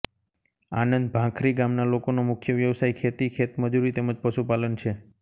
આનંદ ભાંખરી ગામના લોકોનો મુખ્ય વ્યવસાય ખેતી ખેતમજૂરી તેમ જ પશુપાલન છે